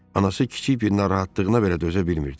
Anası kiçik bir narahatlığına belə dözə bilmirdi.